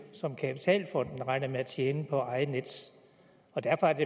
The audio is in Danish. som kapitalfonden regner med at tjene på at eje nets og derfor er det